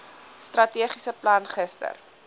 strategiese plan gister